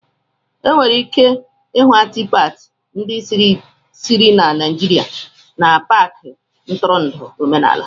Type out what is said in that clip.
Enwere ike ịhụ Atịfatị ndị sitere na Naijiria n'Paakị ntụrụndụ omenala